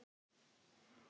Þetta vill hún.